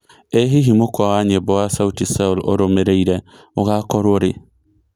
ĩ hihi mũkwa wa nyĩmbo wa sauti sol ũrũmĩrĩre ũgakorwo rĩ